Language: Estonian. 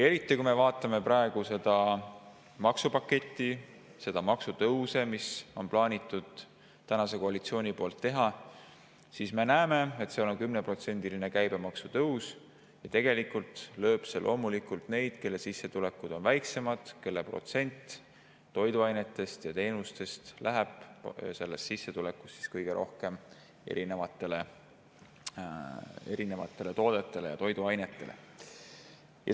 Eriti, kui me vaatame seda maksupaketti ja neid maksutõuse, mida praegune koalitsioon on plaaninud teha, siis me näeme, et on ette nähtud 10%‑line käibemaksu tõus, ja see lööb loomulikult neid, kelle sissetulekud on väiksemad, kelle sissetulekust kõige rohkem läheb erinevatele toodetele ja toiduainetele.